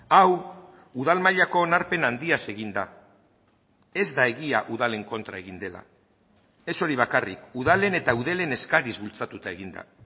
hau udal mailako onarpen handiaz egin da ez da egia udalen kontra egin dela ez hori bakarrik udalen eta eudelen eskariz bultzatuta egin da